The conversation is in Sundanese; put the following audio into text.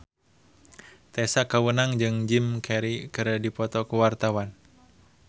Tessa Kaunang jeung Jim Carey keur dipoto ku wartawan